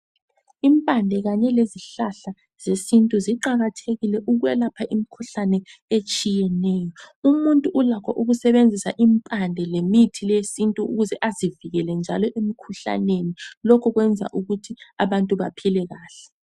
Impande kanye lezihlahla zesintu ziqakathekile ukwelapha imikhuhlane etshiyeneyo. Umuntu ulakho ukusebenzisa impande lemithi le yesintu ukuze azivikele njalo emikhuhlaneni lokhu lokhu kwenza ukuthi abantu baphile kahle.